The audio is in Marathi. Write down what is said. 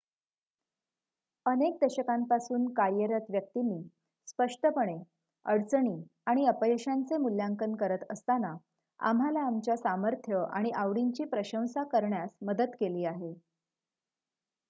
अनेक दशकांपासून कार्यरत व्यक्तींनी स्पष्टपणे अडचणी आणि अपयशांचे मूल्यांकन करत असताना आम्हाला आमच्या सामर्थ्य आणि आवडींची प्रशंसा करण्यास मदत केली आहे